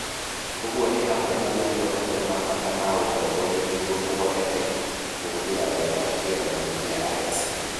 Ũguo nĩ hamwe na gũtua matua ma bata ma ũtongoria nĩguo kũhoteke kũhũthĩra wega kĩgeranio kĩa ALEKS.